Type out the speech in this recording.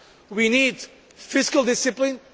We need fiscal discipline.